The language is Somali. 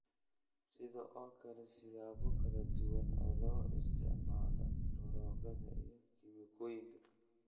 Sidoo kale, siyaabo kala duwan oo loo isticmaalo daroogada iyo kiimikooyinka